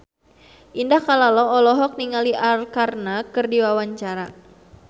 Indah Kalalo olohok ningali Arkarna keur diwawancara